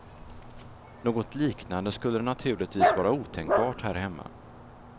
Något liknande skulle naturligtvis vara otänkbart här hemma.